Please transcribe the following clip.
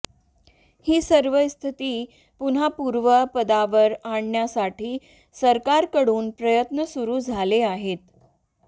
ही सर्व स्थिती पुन्हा पूर्वपदावर आणण्यासाठी सरकारकडून प्रयत्न सुरु झाले आहेत